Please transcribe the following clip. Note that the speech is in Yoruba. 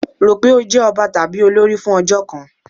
Ro pé ó jẹ́ ọba tàbí olórí fún ọjọ́ kan!